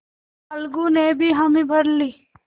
अलगू ने भी हामी भर ली